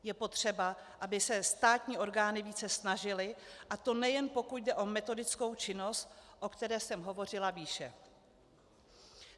Je potřeba, aby se státní orgány více snažily, a to nejen pokud jde o metodickou činnost, o které jsem hovořila výše.